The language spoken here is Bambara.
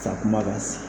Sa kuma ka se